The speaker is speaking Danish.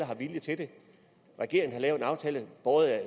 har viljen til det regeringen har lavet en aftale